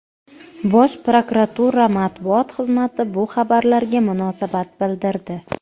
Bosh prokuratura matbuot xizmati bu xabarlarga munosabat bildirdi.